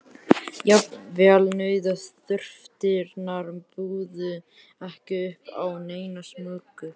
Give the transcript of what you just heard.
Jafnvel nauðþurftirnar buðu ekki upp á neina smugu.